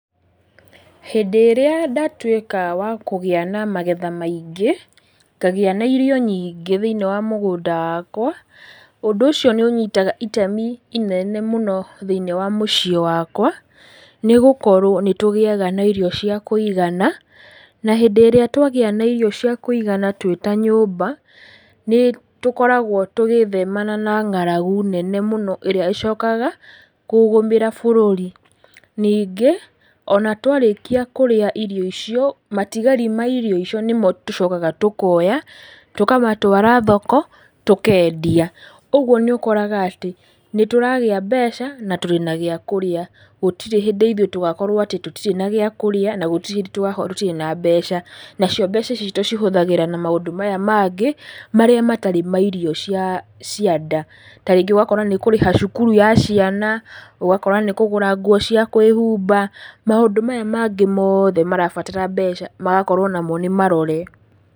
Hĩndĩ ĩrĩa ndatwĩka wa kũgĩa na magetha maingĩ, ngagĩa na irio nyingĩ thĩ-inĩ wa mũgũnda wakwa, ũndũ ũcio nĩũnyitaga itemi inene mũno thĩ-inĩ wa mũciĩ wakwa, nĩgũkorwo nĩtũgĩaga na irio cia kũigana, na hĩndĩ ĩrĩa twagĩa na irio cia kũigana twĩ ta nyũmba, nĩtũkoragwo tũgĩthemana na ng'aragu nene mũno, ĩrĩa ĩcokaga kũgũmĩra bũrũri. Ningĩ, ona twarĩkia kũrĩa irio icio, matigari ma irio icio nĩmo tũcokaga tũkoya, tũkamatwara thoko, tũkendia, ũguo nĩũkoraga atĩ, nĩtũragĩa mbeca, na twĩna gía kũrĩa gũtirĩ hĩndĩ ithũĩ tũgakorwo atĩ tũtirĩ na gĩa kũrĩa na gũtirĩ hĩndĩ tũgakorwo tũtirĩ na mbeca, nacio mbeca ici tũcihũthagĩra na maũndũ maya mangĩ, marĩa matarĩ ma irio cia cia nda, ta rĩngĩ ũgakora nĩũkũrĩha cukuru ya ciana, ũgakora nĩũkũgũra nguo cia kwĩhumba, maũndũ maya mangĩ mothe marabatara mbeca magakorwo namo nĩmarore.